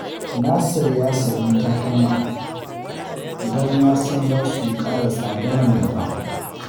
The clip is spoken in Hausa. Nasir ya sayi takalma don ya san za su ƙara tsada a gaba